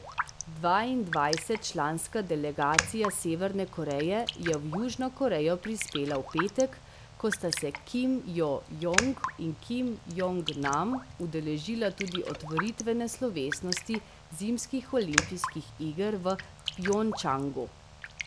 Dvaindvajsetčlanska delegacija Severne Koreje je v Južno Korejo prispela v petek, ko sta se Kim Jo Jong in Kim Jong Nam udeležila tudi otvoritvene slovesnosti zimskih olimpijskih iger v Pjongčangu.